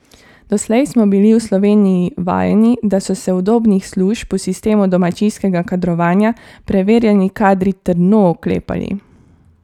Doslej smo bili v Sloveniji vajeni, da so se udobnih služb v sistemu domačijskega kadrovanja preverjeni kadri trdno oklepali.